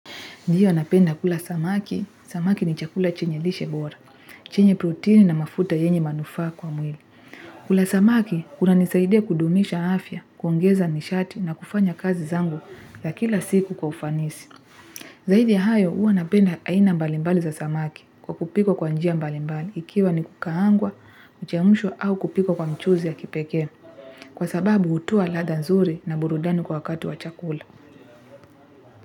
Ndiyo napenda kula samaki, samaki ni chakula chenye lishe bora, chenye protini na mafuta yenye manufaa kwa mwili. Kula samaki, kuna nisaidia kudumisha afya, kuongeza nishati na kufanya kazi zangu za kila siku kwa ufanisi. Zaidi ya hayo, hua napenda aina mbalimbali za samaki kwa kupikwa kwa njia mbalimbali ikiwa ni kukaangwa, kuchemshwa au kupikiwa kwa mchuzi ya kipekee. Kwa sababu utoa ladha nzuri na burudani kwa wakati wa chakula.